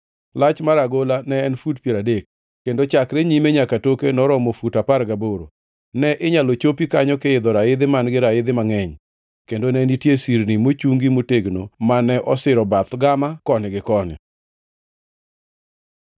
Lach mar agola ne en fut piero adek, kendo chakre nyime nyaka toke noromo fut apar gaboro. Ne inyalo chopi kanyo kiidho raidhi man-gi raidhi mangʼeny, kendo ne nitie sirni mochungi motegno mane osiro bath gama koni gi koni.